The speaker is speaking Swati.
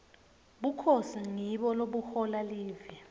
bukhosi ngibo lobuhola live